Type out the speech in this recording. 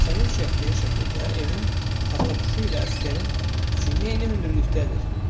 Sənin çəkdiyin şəkildə evin taxtapuşu ilə əsgərin çiyini eyni hündürlükdədir.